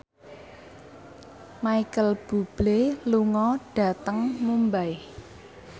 Micheal Bubble lunga dhateng Mumbai